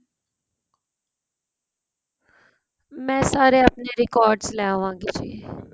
ਮੈ ਸਾਰੇ ਆਪਣੇਂ record ਲੈ ਆਵਾਗੀ ਜ਼ੀ